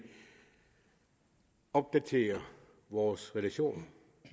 opdaterer vores relationer